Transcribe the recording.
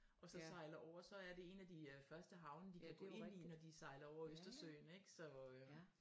Og så sejler over så er det en af de øh første havne de kan gå ind i når de sejler over Østersøen ik så øh